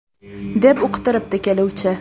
deb uqtiribdi keluvchi.